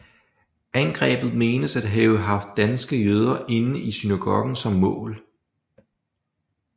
Angrebet menes at have haft danske jøder inde i synagogen som mål